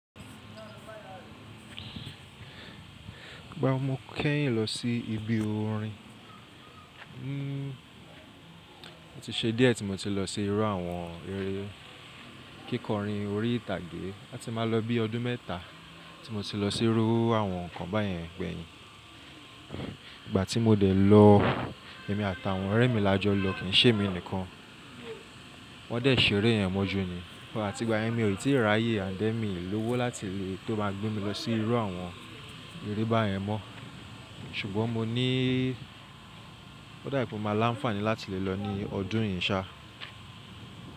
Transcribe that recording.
Igba wo mo kẹ́yìn lọ sí ibi orin. O ti ṣe díẹ̀ tí mo ti lọ sí irú àwọn eré kíkọrin orí ìtàgé. A ti máa lọ bí ọdún mẹ́ta tí mo ti lọ sí irú àwọn ǹkan báyẹn gbẹ́ yìn. Ìgbà tí mo dẹ̀ lọ, èmi àtàwọn ọ̀rẹ́ mi la jọ lọ kìí ṣe èmi nìkan. Wọ́n dẹ̀ ṣeré yẹn mọ́ ju ní. Àti ìgbà yẹn mi ò rí tí ráyè and then mìlówó láti tó má a gbé mi lọ sí irú àwọn eré bá yẹn mọ́. Ṣùgbọ́n mo ní ó dàbí pé ó máa láǹfààní láti lè lọ ní ọdún yìí ṣá.